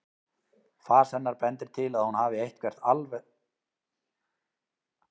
Fas hennar bendir til að hún hafi eitthvert alveg sérstakt markmið í huga.